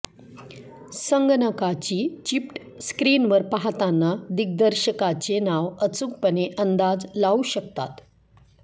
संगणकाची चिप्ट स्क्रीनवर पाहताना दिग्दर्शकाचे नाव अचूकपणे अंदाज लावू शकतात